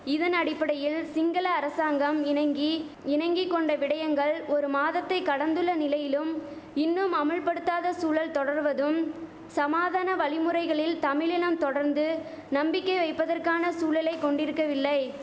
இதனடிப்படையில் சிங்கள அரசாங்கம் இணங்கி இணங்கி கொண்ட விடயங்கள் ஒரு மாதத்தை கடந்துள்ள நிலையிலும் இன்னும் அமுல்படுத்தாத சூழல் தொடர்வதும் சமாதான வழிமுறைகளில் தமிழினம் தொடர்ந்து நம்பிக்கை வைப்பதற்கான சூழலை கொண்டிருக்கவில்லை